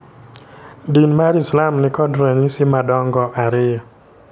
Din mar Islam nikod ranyisi madongo ariyo.